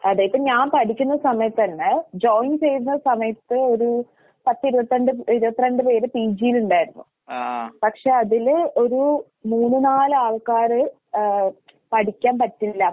അതെ ഇപ്പ ഞാൻ പഠിക്കുന്ന സമയത്തെന്നെ ജോയിൻ ചെയ്യുന്ന സമയത്ത് ഒരു പത്തിരുപത്തണ്ട് ഇരുപത്തിരണ്ട് പേര് പിജിയിലിണ്ടായിരുന്നു. പക്ഷെ അതില് ഒരൂ മൂന്ന് നാലാൾക്കാര് ഏഹ് പഠിക്കാൻ പറ്റണില്ല